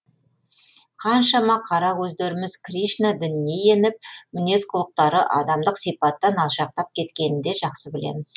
қаншама қара көздеріміз кришна дініне еніп мінез құлықтары адамдық сипаттан алшақтап кеткенін де жақсы білеміз